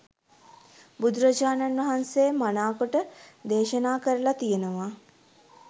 බුදුරජාණන් වහන්සේ මනාකොට දේශනා කරල තියෙනවා.